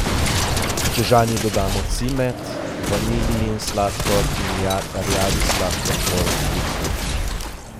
Čežani dodamo cimet, vanilijin sladkor in rjavi sladkor po okusu.